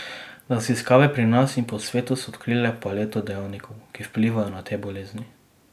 Raziskave pri nas in po svetu so odkrile paleto dejavnikov, ki vplivajo na te bolezni.